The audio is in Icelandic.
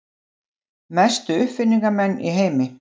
Mestu uppfinningamenn í heimi.